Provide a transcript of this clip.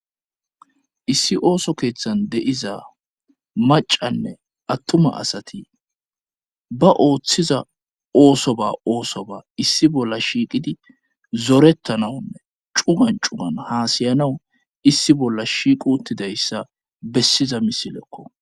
issi ooso keeththan de7iza macanne attuma asati ba ooththiza ooso ba oosoba issi bolla shiiqidi zorettanawunne cugan cugan haasayanawu issi bolla shiiqu uttidayssa bessiza misilekko